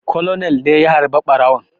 Colonel ne ya harba ɓarawon